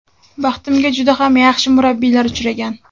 Baxtimga juda ham yaxshi murabbiylar uchragan.